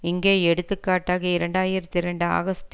இங்கே எடுத்துக்காட்டாக இரண்டு ஆயிரத்தி இரண்டு ஆகஸ்ட்